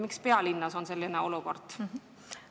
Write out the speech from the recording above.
Miks on pealinnas selline olukord?